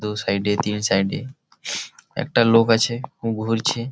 দো সাইড এ তিন সাইড এ একটা লোক আছে খুব ঘুরছে ।